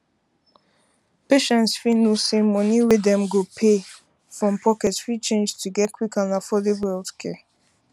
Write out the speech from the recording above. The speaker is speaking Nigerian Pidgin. patients fit know say money wey dem go pay um from pocket fit change to get quick and affordable healthcare